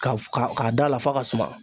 Ka ka k'a da la f'a ka suma